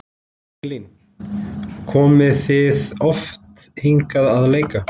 Elín: Komið þið oft hingað að leika?